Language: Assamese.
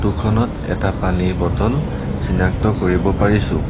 ফটো খনত এটা পানীৰ বটল চিনাক্ত কৰিব পাৰিছোঁ।